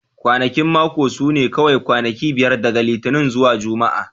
Kwanakin mako su ne kawai kwanaki biyar daga Litinin zuwa Juma'a